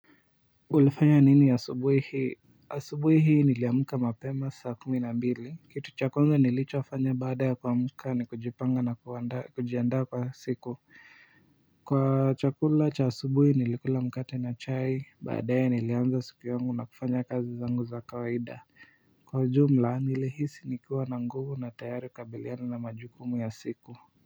Ulifanya nini asubuhi hii? Asubuhi hii niliamka mapema saa kumi na mbili. Kitu cha kwanza nilichofanya baada ya kuamka ni kujipanga na kujiandaa kwa siku. Kwa chakula cha asubuhi nilikula mkate na chai baadae nilianza siku yangu na kufanya kazi zangu za kawaida. Kwa ujumla nilihisi nikiwa na nguvu na tayari kukabiliana na majukumu ya siku.